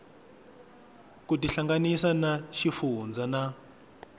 ku tihlanganisa na xifundzha na